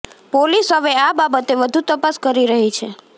police હવે આ બાબતે વધુ તપાસ કરી રહી છે